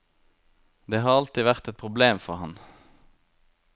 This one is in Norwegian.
Det har alltid vært et problem for ham.